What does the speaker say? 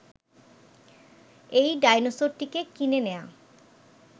এই ডায়নোসরটিকে কিনে নেয়া